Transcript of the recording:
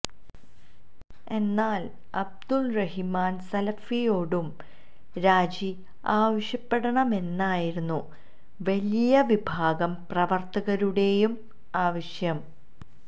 എന്നാൽ അബ്ദുറഹിമാൻ സലഫിയോടും രാജി ആവശ്യപ്പെടണമെന്നായിരുന്നു വലിയ വിഭാഗം പ്രവർത്തകരുടെയും ആവശ്യം